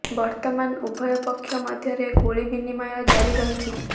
ବର୍ତ୍ତମାନ ଉଭୟ ପକ୍ଷ ମଧ୍ୟରେ ଗୁଳି ବିନିମୟ ଜାରି ରହିଛି